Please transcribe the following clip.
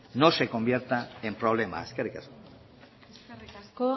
no se convierta en problema eskerrik asko eskerrik asko